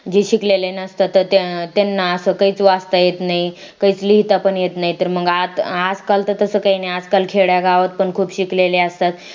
जे शिकलेले नसतात त्यांना असं काहीच वाचता येत नाही काही लिहिता पण येत नाही तर मग आज काल तर तसं काही नाही आजकाल खेड्या गावात पण खूप शिकलेले असतात